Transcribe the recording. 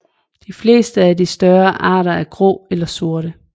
De fleste af de større arter er grå eller sorte